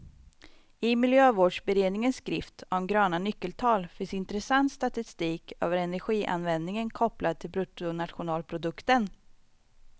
I miljövårdsberedningens skrift om gröna nyckeltal finns intressant statistik över energianvändningen kopplad till bruttonationalprodukten.